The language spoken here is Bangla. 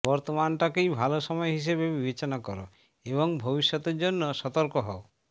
বর্তমানটাকেই ভালো সময় হিসেবে বিবেচনা কর এবং ভবিষ্যতের জন্য সতর্ক হও